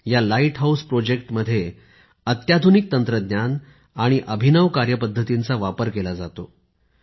या lighthouse प्रकल्पांमध्ये अत्याधुनिक तंत्रज्ञान आणि अभिनव कार्यपद्धतींचा वापर केला जातो